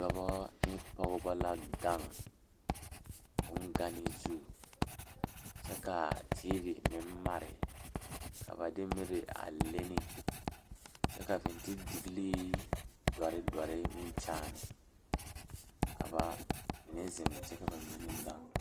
Dɔɔba ne pɔgeba la toɔ a pegle orobaare ka teere yigaa are a ba nimitɔɔre ka bamine su kpare ziiri ka bamine meŋ su kpare sɔglɔ ka bamine meŋ a do kyɛ te a orobaare taa.